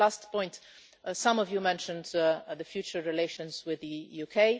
Last point some of you mentioned the future relations with the UK.